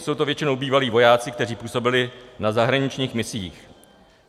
Jsou to většinou bývalí vojáci, kteří působili na zahraničních misích.